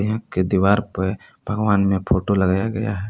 एक के दीवार पे भगवान ने फोटो लगाया गया है।